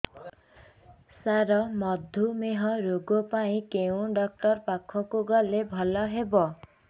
ସାର ମଧୁମେହ ରୋଗ ପାଇଁ କେଉଁ ଡକ୍ଟର ପାଖକୁ ଗଲେ ଭଲ ହେବ